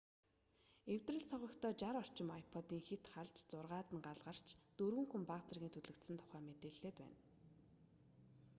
эвдрэл согогтой 60 орчим ipod-ын хэт халж зургаад нь гал гарч дөрвөн хүн бага зэргийн түлэгдсэн тухай мэдээлээд байна